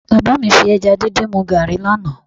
Bàbá mi fi ẹja díndín mu gààrí lánàá